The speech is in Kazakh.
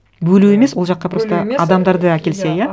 бөлу емес ол жаққа просто адамдарды әкелсе иә